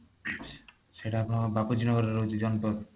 ସେଇଟା ଆପଣଙ୍କର ବାପୁଜୀ ନଗରରେ ରହୁଛି ଜନପଥ